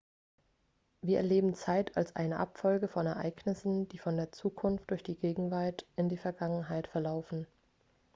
wir erleben zeit als eine abfolge von ereignissen die von der zukunft durch die gegenwart in die vergangenheit verlaufen